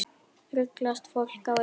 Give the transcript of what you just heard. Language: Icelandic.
Ruglast fólk á ykkur?